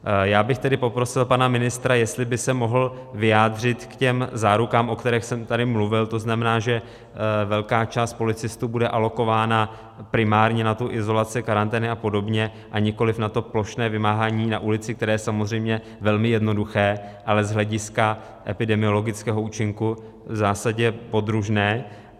Já bych tedy poprosil pana ministra, jestli by se mohl vyjádřit k těm zárukám, o kterých jsem tady mluvil, to znamená, že velká část policistů bude alokována primárně na tu izolaci, karantény apod., a nikoliv na to plošné vymáhání na ulici, které je samozřejmě velmi jednoduché, ale z hlediska epidemiologického účinku v zásadě podružné.